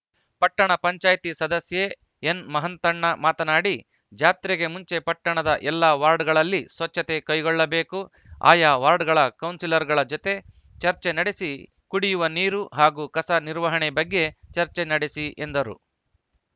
ಪಟ್ಟಣ ಪಂಚಾಯತ್ ಸದಸ್ಯೆ ಎನ್‌ ಮಹಾಂತಣ್ಣ ಮಾತನಾಡಿ ಜಾತ್ರೆಗೆ ಮುಂಚೆ ಪಟ್ಟಣದ ಎಲ್ಲ ವಾರ್ಡ್‌ಗಳಲ್ಲಿ ಸ್ವಚ್ಛತೆ ಕೈಗೊಳ್ಳಬೇಕು ಆಯಾ ವಾರ್ಡ್‌ಗಳ ಕೌನ್ಸಿಲರ್‌ಗಳ ಜತೆಗೆ ಚರ್ಚೆ ನಡೆಸಿ ಕುಡಿಯುವ ನೀರು ಹಾಗೂ ಕಸ ನಿರ್ವಹಣೆ ಬಗ್ಗೆ ಚರ್ಚೆ ನಡೆಸಿ ಎಂದರು